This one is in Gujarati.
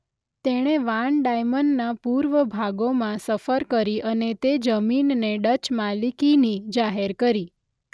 તેણે વાન ડાઇમનના પૂર્વ ભાગોમાં સફર કરી અને તે જમીનને ડચ માલિકીની જાહેર કરી.